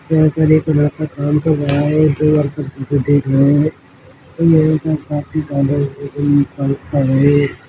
यहाँ पर एक लड़का काम कर रहा है दो वर्कर किसी को देख रहे है उन्मे से एक काफी काले खड़े है।